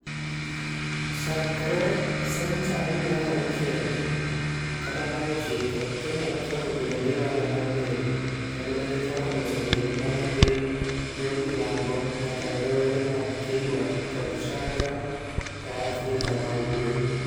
Chakre senchari mar auchiel kata mar ochiko, Kenya nochako bedo gi ohala mar meli, kendo ne gichako loso meli ma ne dhi yor milambo nyaka e dho wedhe mag Kilwa kod Shanga e Afrika ma Ugwe.